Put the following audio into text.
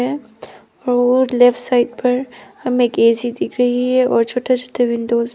ओ left side पर हमे एक ए_सी दिख रही है और छोटा छोटा विंडोज भी--